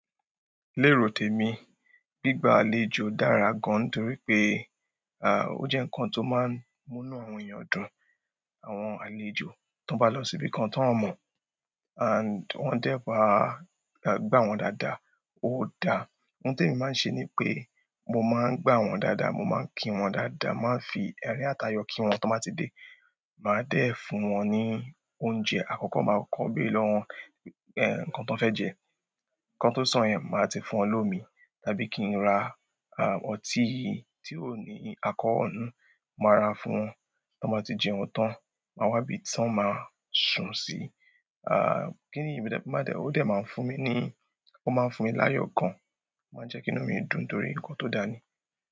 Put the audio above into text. Lérotèmi, gbígba àlejò dára gan torí pé, à, ó jẹ́ ǹkan tó máa ń múnú àwọn èèyàn dùn. Àwọn àlejò tó bá lọ síbìkan tó ń mọ̀, and wọ́n dẹ́ bá, gbà wọ́n dáadáa, ó da. Ohun tó èmi máa ń ṣe ni pé mo máa ń gbà wọ́n dáadáa, mo máa ń kí wọ́n dáadáa, màá ń fi ẹ̀rín àtayọ̀ kí wọ́n tó bá ti dé. Màá dẹ́ fún wọn ní oúnjẹ àkọ́kọ́, màá kọ́ bí lọ́wọ́ ẹ̀, ǹkan tán fẹ́ jẹ. Ǹkan tó sàn-án, màá ti fún wọn lómi, tàbí kí n ra à, ọtí tí ó ní alcohol nínú, màá ra fún wọn. Tán bá ti jẹun tán, màá wá ibi tí wọ́n máa sùn sí. À, kí nìyí, bíbẹ́dẹ́ pẹ́, ó dẹ máa ń fún mi ni, ó máa ń fún mi láyọ̀ gan, ó máa ń jẹ́ kí inú mi dùn torí ǹkan tó dani.